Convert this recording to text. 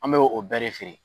An bɛ o bɛɛ de feere.